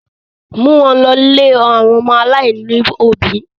Mú wọn lọ̀ ilé àwọn ọmọ aláìní òbí!